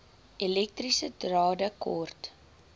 elektriese drade kort